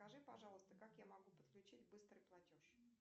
скажи пожалуйста как я могу подключить быстрый платеж